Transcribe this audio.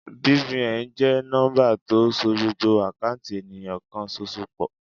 BVN jẹ́ nọ́ḿbà tó so gbogbo àkáùntì ènìyàn kan ṣoṣo pọ̀.